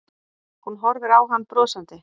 Hún horfir á hann brosandi.